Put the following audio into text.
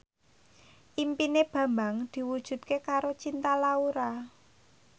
impine Bambang diwujudke karo Cinta Laura